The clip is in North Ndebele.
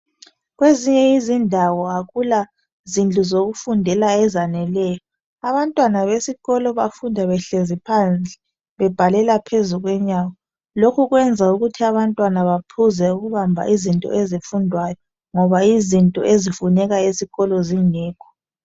Kwezinye izindawo akula zindlu zokufundela ezaneleyo , abantwana besikolo bafunda behlezi phandle bebhalela phezu kwenyawo , lokhu kwenza ukuthi abantwana bephuze ukubamba izinto ezifundwayo ngoba izinto ezifunekayo zifuneka esikolo zingekho